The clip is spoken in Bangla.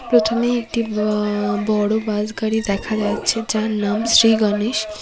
প্রথমে একটি ব বড়ো বাস গাড়ি দেখা যাচ্ছে যার নাম শ্রী গনেশ।